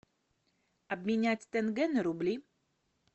обменять тенге на рубли